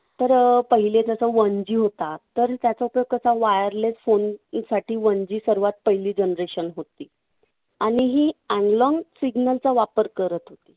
तर पहिले जसा one G होता, तर त्याच्यात तो कसा wireless phone साठी one G सगळ्यात पहिली generation होती. आणि ही analog signal चा वापर करत होती.